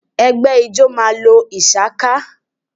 Ẹ̀gbẹ́ ijọ́ ma lo ìshaká